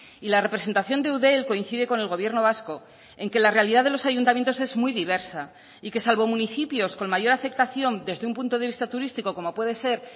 y la representación de eudel coincide con el gobierno vasco en que la realidad de los ayuntamientos es muy diversa y que salvo municipios con mayor aceptación desde un punto de vista turístico como puede ser